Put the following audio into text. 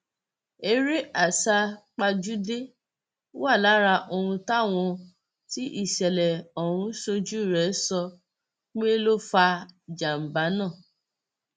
eré àsápajúdé wà lára ohun táwọn tí ìṣẹlẹ ọhún ṣojú rẹ sọ pé ló fa ìjàmbá náà